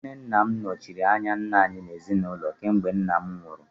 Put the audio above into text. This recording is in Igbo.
Nwanne Nna m nọchiri anya nna anyị n'ezinụlọ kemgbe nna m nwụrụ